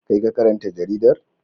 Kai ka karanta jaridar.